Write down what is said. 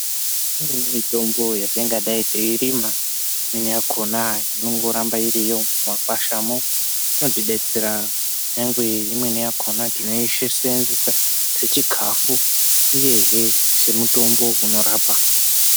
Imweni mitombo yatingadai teirima imweni yakona inongoramba irimo mumakwashamo. Inotibetsera kunyangwe imweni yakona tinoisenzesa sechikafu, uyehe semutombo unorapa.